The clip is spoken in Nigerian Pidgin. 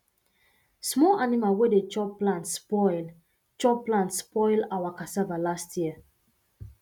small animal wey de chop plant spoil chop plant spoil our cassava last year